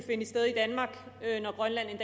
finde sted i danmark når grønland en